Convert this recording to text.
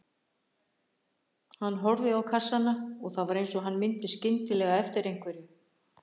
Hann horfði á kassana og það var eins og hann myndi skyndilega eftir einhverju.